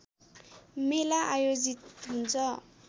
मेला आयोजित हुन्छ